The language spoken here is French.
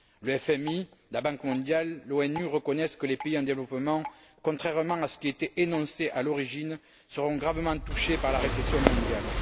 Le FMI, la Banque mondiale, l'ONU reconnaissent que les pays en développement, contrairement à ce qui était énoncé à l'origine, seront gravement touchés par la récession mondiale.